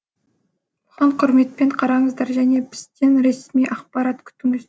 оған құрметпен қараңыздар және бізден ресми ақпарат күтіңіздер